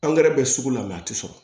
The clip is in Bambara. Angɛrɛ bɛ sugu la a tɛ sɔrɔ